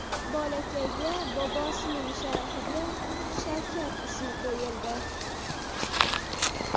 Bolakayga bobosining sharafiga Shavkat ismi qo‘yildi.